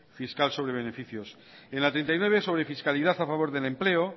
fiscal sobre beneficios en la treinta y nueve sobre fiscalidad a favor del empleo